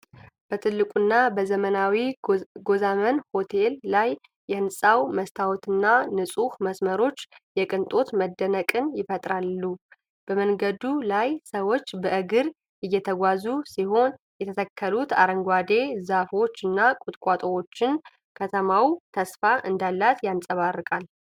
በትልቁና በዘመናዊው ጎዛመን ሆቴል ላይ፣ የሕንፃው መስታወትና ንጹህ መስመሮች የቅንጦት መደነቅን ይፈጥራሉ። በመንገዱ ላይ ሰዎች በእግር እየተጓዙ ሲሆን፣ የተተከሉት አረንጓዴ ዛፎችና ቁጥቋጦዎች ከተማዋ ተስፋ እንዳላት ያንጸባርቃሉ።